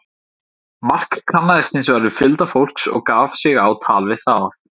Mark kannaðist hins vegar við fjölda fólks og gaf sig á tal við það.